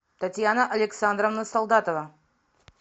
татьяна александровна солдатова